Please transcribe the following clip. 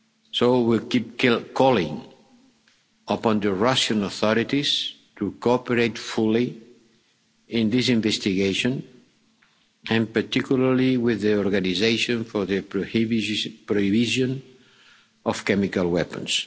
standards. So we will keep calling upon the Russian authorities to cooperate fully in this investigation and particularly with the Organisation for the Prohibition of Chemical